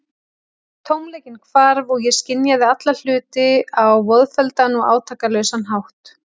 Tómleikinn hvarf, og ég skynjaði alla hluti á voðfelldan og átakalausan hátt.